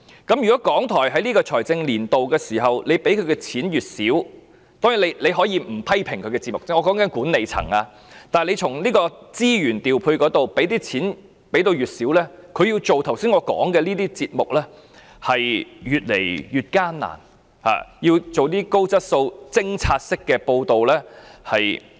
就財政年度撥款而言，當然，管理層可以不批評其節目，但卻在資源方面減少撥款，以致港台要製作我剛才提到的節目便越來越艱難，難以製作一些高質素的偵查式報道。